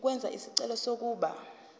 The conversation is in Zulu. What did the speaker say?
ukwenza isicelo sokuba